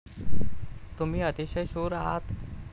तुम्ही अतिशय शूर आहात.